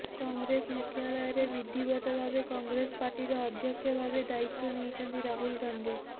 କଂଗ୍ରେସ ମୁଖ୍ୟାଳୟରେ ବିଧିବଦ୍ଧ ଭାବେ କଂଗ୍ରେସ ପାର୍ଟିର ଅଧ୍ୟକ୍ଷ ଭାବେ ଦାୟିତ୍ୱ ନେଇଛନ୍ତି ରାହୁଲ ଗାନ୍ଧି